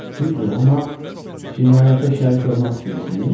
Düzdür, amma cinayətə şərik olmaq istəyirsiniz?